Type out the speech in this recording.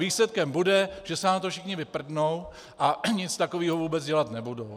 Výsledkem bude, že se na to všichni vyprdnou a nic takového vůbec dělat nebudou.